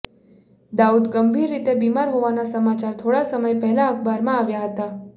દાઉદ ગંભીર રીતે બીમાર હોવાના સમાચાર થોડા સમય પહેલા અખબારમાં આવ્યા હતા